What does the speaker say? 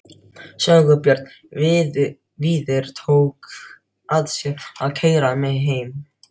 Sigurbjörn Víðir tók að sér að keyra mig heim.